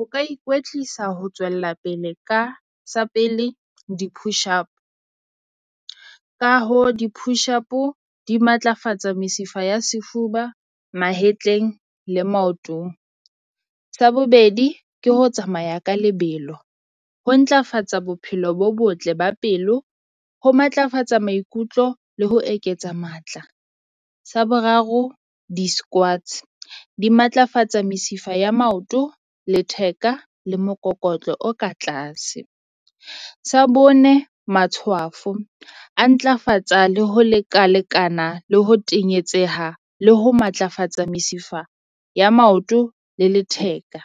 O ka ikwetlisa ho tswella pele ka sa pele di-push up, ka hoo di-push-o di matlafatsa mesifa ya sefuba mahetleng le maotong. Sa bobedi, ke ho tsamaya ka lebelo ho ntlafatsa bophelo bo botle ba pelo, ho matlafatsa maikutlo le ho eketsa matla. Sa boraro, di-squads di matlafatsa mesifa ya maoto, letheka le mokokotlo o ka tlase. Sa bone, matshwafo a ntlafatsa le ho lekalekana le ho tenyetseha le ho matlafatsa mesifa ya maoto le letheka.